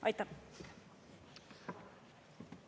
Aitäh!